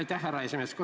Aitäh, härra esimees!